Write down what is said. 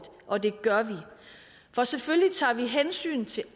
og det gør vi for selvfølgelig tager vi hensyn til